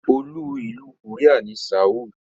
Olú ìlú Korea ni Seoul.